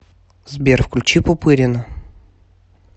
сбер включи пупырина